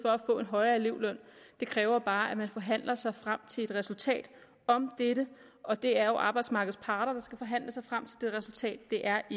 for at elevløn det kræver bare at man forhandler sig frem til et resultat om dette og det er jo arbejdsmarkedets parter der skal forhandle sig frem til det resultat det er